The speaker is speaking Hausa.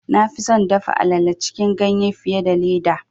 Na fi son dafa alale cikin ganye fiye da leda.